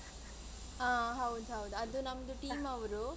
ಅಹ್ ಹೌದ್ ಹೌದು ಅದು ನಮ್ದು team ಅವ್ರು.